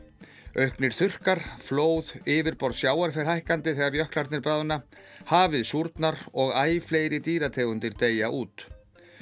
auknir þurrkar flóð yfirborð sjávar fer hækkandi þegar jöklarnir bráðna hafið súrnar og æ fleiri dýrategundir deyja út